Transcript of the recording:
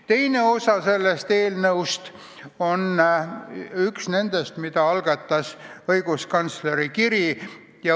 Üks osa eelnõust puudutab teemat, mille tõstatas õiguskantsleri kiri.